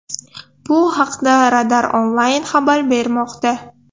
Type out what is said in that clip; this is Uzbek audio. Bu haqda Radar Online xabar bermoqda .